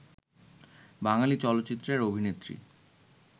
বাঙালি চলচ্চিত্রের অভিনেত্রী